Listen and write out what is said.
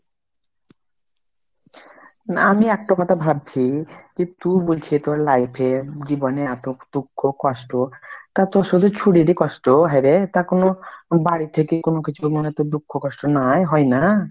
না আমি একটা কথা ভাবছি কি তু বলছি তোর life এ জীবনে এত দুঃখ কষ্ট, তা তোর সেই ছুড়ির এ কষ্ট হ্যাঁ রে? তা কোনো বাড়ি থেকে কোনো কিছুতে মনে হয় কষ্ট দুঃখ নাই হয়না ?